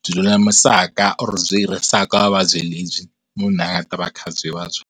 byi lulamisaka or byi herisaka vuvabyi lebyi munhu a nga ta va kha byi vabya.